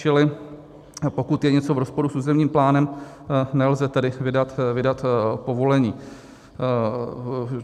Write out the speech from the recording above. Čili pokud je něco v rozporu s územním plánem, nelze tedy vydat povolení.